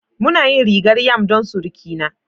Muna yin rigar yam don surukina